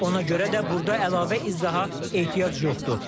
Ona görə də burda əlavə izaha ehtiyac yoxdur.